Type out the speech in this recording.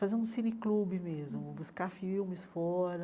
Fazer um cineclube mesmo, buscar filmes fora.